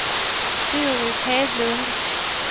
Doris Hedlund